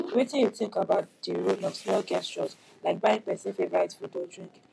wetin you think about di role of small gestures like buying pesins favorite food or drink